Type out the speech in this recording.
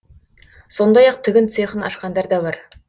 сондай ақ тігін цехын ашқандар да бар